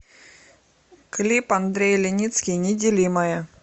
клип андрей леницкий неделимое